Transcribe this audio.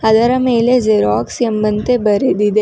ಅದರ ಮೇಲೆ ಜೆರಾಕ್ಸ್ ಎಂಬಂತೆ ಬರೆದಿದೆ.